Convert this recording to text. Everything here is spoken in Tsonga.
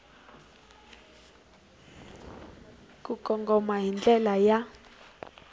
ku kongoma hi ndlela ya